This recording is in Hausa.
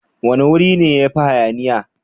Wane wuri ne yafi hayaniya?